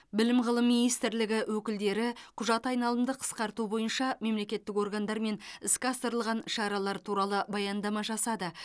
білім ғылым министрлігі өкілдері құжат айналымды қысқарту бойынша мемлекеттік органдармен іске асырылған шаралар туралы баяндама жасады